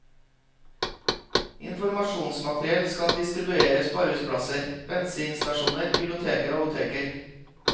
Informasjonsmateriell skal distribueres på arbeidsplasser, bensinstasjoner, biblioteker og apoteker.